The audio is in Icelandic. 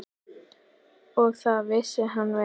Og það vissi hann vel.